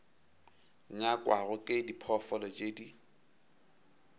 nyakwago ke diphoofolo tše di